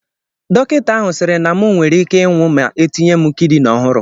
Dọkịta ahụ sịrị na mụ nwere ike ịnwụ ma etinye m kidini ọhụrụ